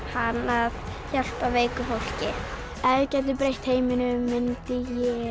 hann að hjálpa veiku fólki ef ég gæti breytt heiminum myndi ég